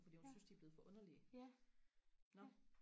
fordi hun synes de er blevet for underlige nå